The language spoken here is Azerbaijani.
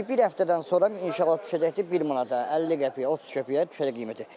Bir həftədən sonra inşallah düşəcəkdir bir manata, 50 qəpiyə, 30 qəpiyə düşəcək qiyməti.